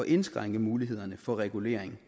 indskrænke mulighederne for regulering